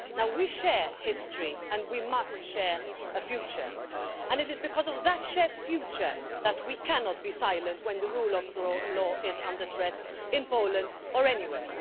We share history, and we must share a future, and it is because of that shared future that we cannot be silent when the rule of law is under threat in Poland or anywhere.